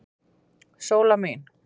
Sóla mín.